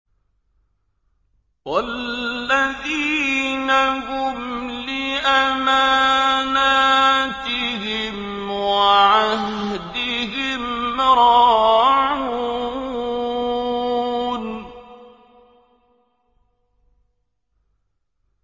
وَالَّذِينَ هُمْ لِأَمَانَاتِهِمْ وَعَهْدِهِمْ رَاعُونَ